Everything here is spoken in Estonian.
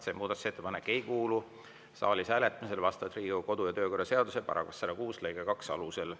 See muudatusettepanek ei kuulu saalis hääletamisele Riigikogu kodu‑ ja töökorra seaduse § 106 lõike 2 alusel.